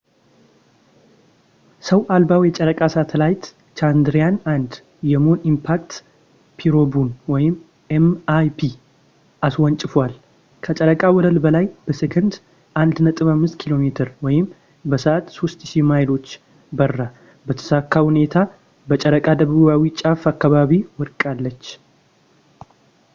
ሰው አልባው የጨረቃ ሳተላይት ቻንድራያን-1 የሙን ኢምፓክት ፕሮቡን ኤም.ኢይ.ፒ አስወንጭፏል፣ ከጨረቃ ወለል በላይ በሴኮንድ 1.5 ኪ.ሜ በሰዓት 3000 ማይሎች በራ በተሳካ ሁኔታ በጨረቃ ደቡባዊ ጫፍ አካባቢ ወድቃለች